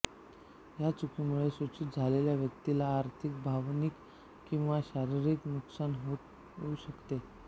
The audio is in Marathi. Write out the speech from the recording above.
या चुकीमुळे सूचित झालेल्या व्यक्तीला आर्थिक भावनिक किंवा शारीरिक नुकसान होऊ शकते